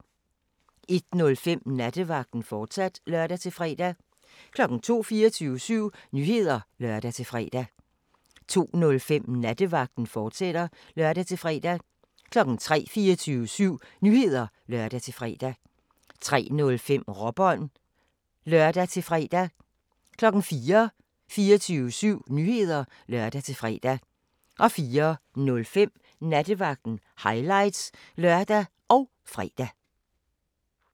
01:05: Nattevagten, fortsat (lør-fre) 02:00: 24syv Nyheder (lør-fre) 02:05: Nattevagten, fortsat (lør-fre) 03:00: 24syv Nyheder (lør-fre) 03:05: Råbånd (lør-fre) 04:00: 24syv Nyheder (lør-fre) 04:05: Nattevagten – highlights (lør og fre)